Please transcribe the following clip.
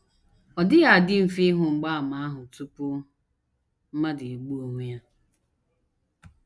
Ọ dịghị adị mfe ịhụ mgbaàmà ahụ tupu mmadụ egbuo onwe ya.